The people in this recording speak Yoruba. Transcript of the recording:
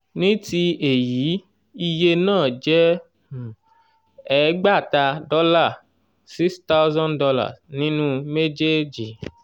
ní ti èyí iye náà jẹ́ um ẹgbàáta dọ́là six thousand dolar nínú méjèèjì.